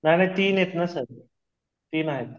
नाही ना तीन आहेत ना सर तीन आहे